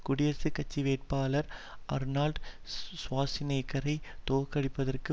குடியரசுக் கட்சி வேட்பாளர் ஆர்னோல்ட் ஷ்வார்ஸ்நெக்கரைத் தோற்கடிப்பதற்கு